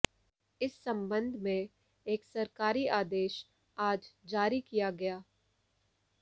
इस संबंध में एक सरकारी आदेश आज जारी किया गया